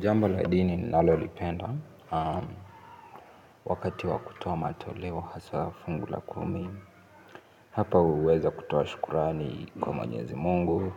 Jambo la dini nilalo lipenda, wakati wakutoa matoleo haswa fungu la kumi, hapa uweza kutoa shukurani kwa mwenyezi mungu,